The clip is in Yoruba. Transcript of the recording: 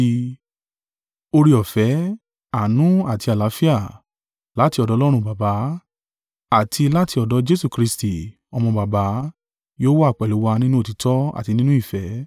Oore-ọ̀fẹ́, àánú, àti àlàáfíà, láti ọ̀dọ̀ Ọlọ́run Baba, àti láti ọ̀dọ̀ Jesu Kristi, Ọmọ Baba, yóò wà pẹ̀lú wa nínú òtítọ́ àti nínú ìfẹ́.